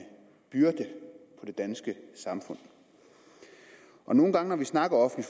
byrde for det danske samfund og nogle gange når vi snakker om